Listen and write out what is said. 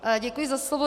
Děkuji za slovo.